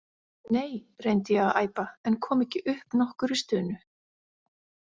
Nei, reyndi ég að æpa en kom ekki upp nokkurri stunu.